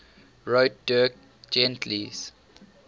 wrote dirk gently's